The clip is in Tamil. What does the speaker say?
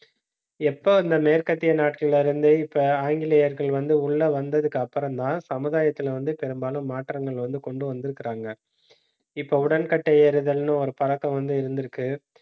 எப்ப அந்த மேற்கத்திய நாட்டுல இருந்து, இப்ப ஆங்கிலேயர்கள் வந்து, உள்ள வந்ததுக்கு அப்புறம்தான் சமுதாயத்துல வந்து பெரும்பாலும் மாற்றங்கள் வந்து கொண்டு வந்திருக்கிறாங்க. இப்ப உடன்கட்டை ஏறுதல்னு, ஒரு பழக்கம் வந்து இருந்திருக்கு